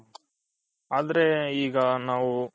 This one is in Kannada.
ಆದ್ರೆ ಈಗ ನಾವು